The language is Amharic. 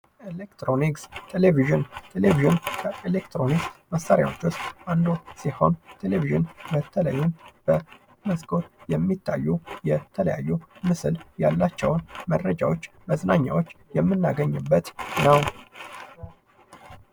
ኤሌክትሮኒክስ፦ ቴሌቪዥን፦ ቴሌቪዥን ከኤሌክትሮኒክስ መሳሪያውች መካክለ አንዱ ሲሆን ቴሌቪዥን በመስኮት የሚታዩ ምስል ያላቸው መረጃዎች እና መዝናኛዎች የምናገኝነት ነው።